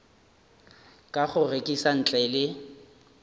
ka go rekiša ntle le